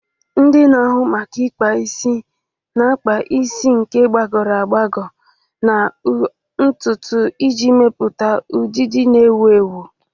Ndị na-ahụ maka ụlọ ikpa isi na-akpa isi ike, gbagọrọ agbagọ, na ụdị ntutu iji mepụta ọdịdị na-ewu ewu.